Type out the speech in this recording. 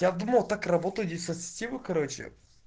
я думал так работаю диссоциативы короче